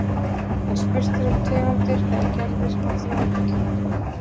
en spurt er um tegundir eða gerðir af þróunarkenningum